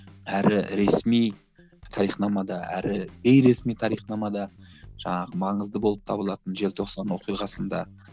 әрі ресми тарихнамада әрі бейресми тарихнамада жаңағы маңызды болып табылатын желтоқсан оқиғасында